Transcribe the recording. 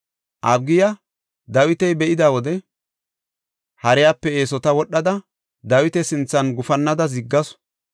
Abigiya Dawita be7ida wode hariyape eesota wodhada, Dawita sinthan gufannada ziggasu.